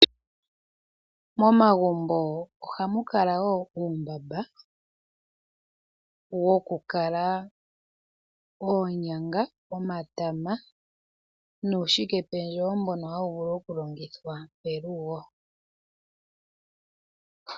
Momagumbo ohamu kala uumbamba woku kala oonyanga, omatama nuushike pendjewo mbono hawu vulu okulongithwa pelugo.